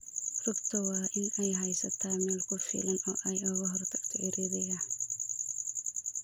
Rugta waa in ay haysataa meel ku filan oo ay uga hortagto ciriiriga.